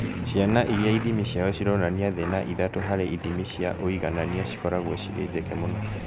Ciana iria ithimi ciao cirathoma thĩ na ithatũ harĩ ithimi cia ũiganania cikoragwo cirĩ njeke mũno